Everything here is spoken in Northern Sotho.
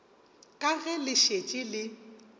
ka ge le šetše le